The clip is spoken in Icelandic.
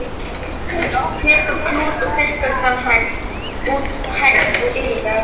Tekur klút og þurrkar það út, hægt og yfirvegað.